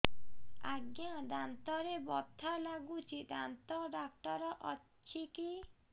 ଆଜ୍ଞା ଦାନ୍ତରେ ବଥା ଲାଗୁଚି ଦାନ୍ତ ଡାକ୍ତର ଅଛି କି